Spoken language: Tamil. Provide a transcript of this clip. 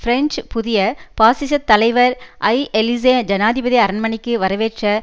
பிரெஞ்சு புதிய பாசிசத் தலைவர் ஐ எலிசே ஜனாதிபதி அரண்மனைக்கு வரவேற்ற